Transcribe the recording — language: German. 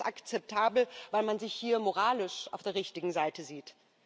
Oder wird das akzeptabel, weil man sich hier moralisch auf der richtigen Seite sieht?